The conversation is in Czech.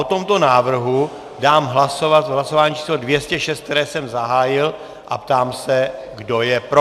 O tomto návrhu dám hlasovat v hlasování číslo 206, které jsem zahájil, a ptám se, kdo je pro.